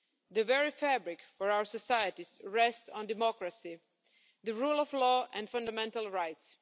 The very fabric for our societies rests on democracy, the rule of law and fundamental rights.